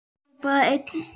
Hrópaði einn: